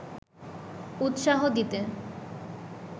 উৎসাহ দিতে